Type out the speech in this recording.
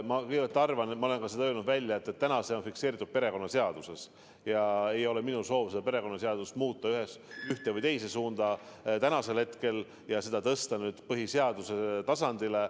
Ma kõigepealt arvan – ma olen seda ka välja öelnud –, et täna on see fikseeritud perekonnaseaduses ja ei ole minu soov hetkel seda perekonnaseadust muuta ühes või teises suunas ning tõsta see norm nüüd põhiseaduse tasandile.